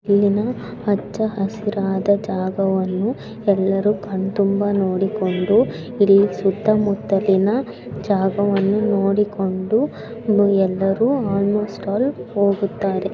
ಹಚ್ಚ ಹಸಿರಾದ ಜಾಗವನ್ನುಎಲ್ಲರೂ ಕಣ್ತುಂಬ ನೋಡಿಕೊಂಡು ಇಲ್ಲಿ ಸುತ್ತಮುತ್ತಲಿನ ಜಾಗವನ್ನು ನೋಡಿಕೊಂಡು ಎಲ್ಲರೂ ಆಲ್ಮೋಸ್ಟ್ ಆಲ್ ಹೋಗುತ್ತಾರೆ.